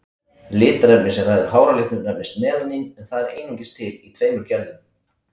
Litarefnið sem ræður háralitnum nefnist melanín, en það er einungis til í tveimur gerðum.